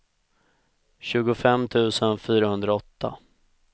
tjugofem tusen fyrahundraåtta